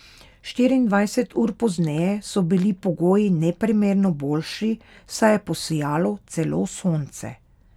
Štiriindvajset ur pozneje so bili pogoji neprimerno boljši, saj je posijalo celo sonce.